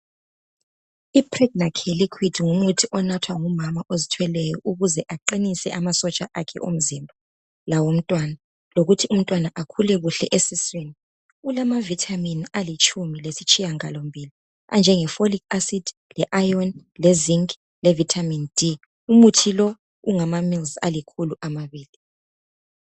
Ipregnacare ngumuthi onathwa ngumama ozithweleyo ukuze aqinise amasotsha akhe omzimba lawomntwana ukuze umntwana akhulu kuhle eswiswini ilamavitamin alitshumi lesitshiyangalo mbili anjengephorikhi asidi, le ayoni lezinki levitamin D. umuthi lo ungamamils alikhulu amabili.